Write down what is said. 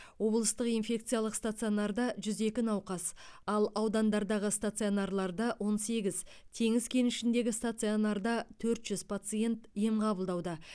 облыстық инфекциялық стационарда жүз екі науқас ал аудандардағы стационарларда он сегіз теңіз кенішіндегі стационарда төрт жүз пациент ем қабылдауда